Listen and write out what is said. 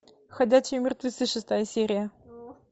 ходячие мертвецы шестая серия